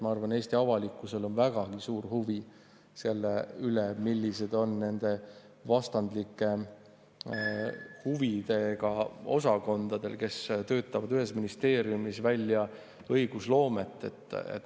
Ma arvan, et Eesti avalikkusel on väga suur huvi selle vastu, millised on need vastandlikud huvid osakondadel, kes töötavad ühes ministeeriumis välja õigusloomet.